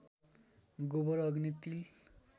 गोबर अग्नि तिल